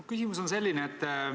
Mu küsimus on selline.